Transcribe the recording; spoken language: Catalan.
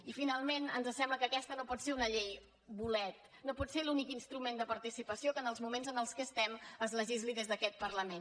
i finalment ens sembla que aquesta no pot ser una llei bolet no pot ser l’únic instrument de participació que en els moments en què estem es legisli des d’aquest parlament